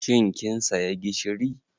Shin kin saya gishiri?